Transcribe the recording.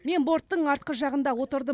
мен борттың артқы жағында отырдым